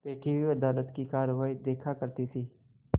बैठी हुई अदालत की कारवाई देखा करती थी